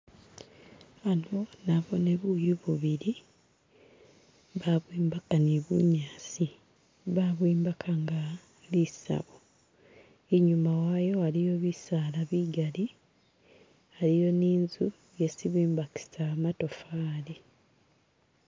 Hano nabone buyu bubili babwimbaka ni bunyasi babwimbaka nga lisabo inyuma wayo iliyo bisaala bigali iliyo ni inzu yesi bimbakisa matofali